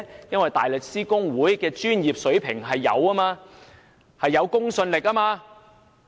因為大律師公會的專業水平具有公信力。